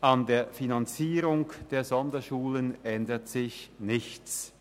An der Finanzierung der Sonderschulen ändert sich nichts.